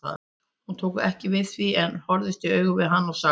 Hún tók ekki við því en horfðist í augu við hann og sagði